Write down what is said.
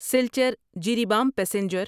Silchar Jiribam passenger